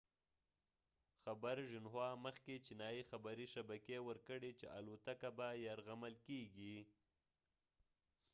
مخکې چینایي خبري شبکې xinhua خبر ورکړی چې الوتکه به یرغمل کیږي